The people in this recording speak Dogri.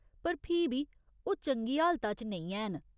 पर फ्ही बी, ओह् चंगी हालता च नेईं हैन।